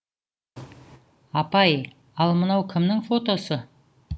апай ал мынау кімнің фотосы